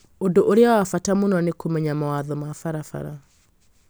Ũndũ ũrĩa wa bata mũno nĩ kũmenya mawatho ma barabara